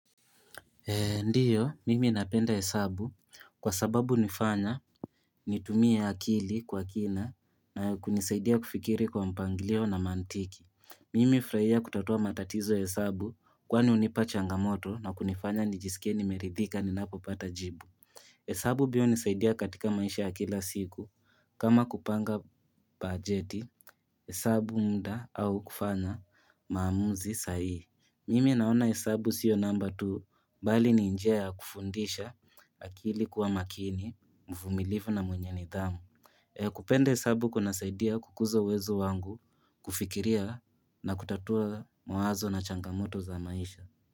Ndiyo, mimi napenda hesabu kwa sababu nifanya nitumie akili kwa kina na kunisaidia kufikiri kwa mpanglio na mantiki. Mimi fraia kutatua matatizo ya hesabu kwani unipa changamoto na kunifanya nijisikie nimeridhika ninapopata jibu. Hesabu biyo unisaidia katika maisha ya kila siku kama kupanga pajeti hesabu mda au kufanya maamuzi saihi. Mimi naona hesabu sio namba tu bali ni njia ya kufundisha akili kuwa makini mvumilivu na mwenye nidhamu. Kupende hesabu kunasaidia kukuza uwezo wangu kufikiria na kutatua mawazo na changamoto za maisha.